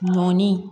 Ɲɔni